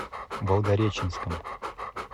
волгореченском